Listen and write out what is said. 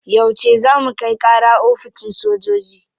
Yauce za mu kai kara oficin sojoji?